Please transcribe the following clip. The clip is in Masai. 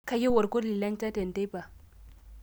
kayieu olkoti lenchan te nteipa